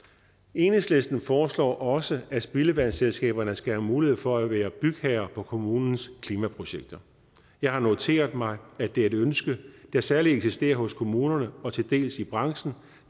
enhedslisten foreslår også at spildevandsselskaberne skal have mulighed for at være bygherre på kommunens klimaprojekter jeg har noteret mig at det er et ønske der særlig eksisterer hos kommunerne og til dels i branchen